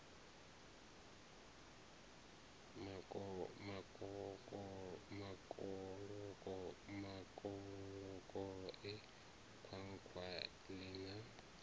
makoloko e khwakhwa ii na